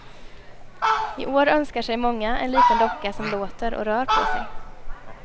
I år önskar sig många en liten docka som låter och rör på sig.